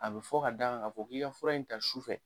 A bɛ fɔ k'a d'a kan ka fɔ k'i ka fura in ta su fɛ.